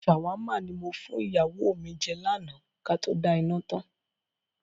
"ṣàmáwà" ni mo fún ìyàwó mi jẹ́ lànà Kato da iná tán.